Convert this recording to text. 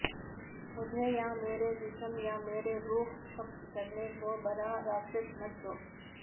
مجھے یا میرے جسم یا میری روح قبضہ کرنے کو برا راکشس مت دو